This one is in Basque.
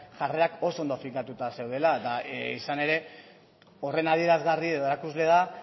jarrerak oso ondo finkatuta zeudela eta izan ere horren adierazgarri edo erakusle da